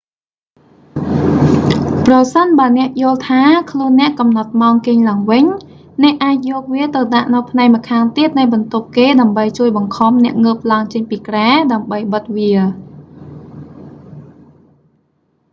ប្រសិនបើអ្នកយល់ថា ខ្លួនអ្នកកំណត់ម៉ោងគេងឡើងវិញ អ្នកអាចយកវាទៅដាក់នៅផ្នែកម្ខាងទៀតនៃបន្ទប់គេដើម្បីជួយបង្ខំអ្នកងើបឡើងចេញពីគ្រែ ដើម្បីបិទវា